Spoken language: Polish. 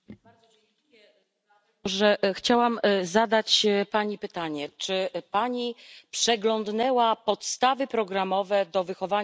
Chciałabym zadać pani pytanie czy pani przeglądnęła podstawy programowe do wychowania do życia w rodzinie?